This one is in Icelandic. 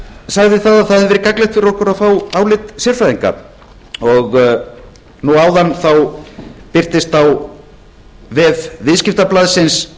sagði að það hefði verið gagnlegt fyrir okkur að fá álit sérfræðinga nú áðan birtist á vef viðskiptablaðsins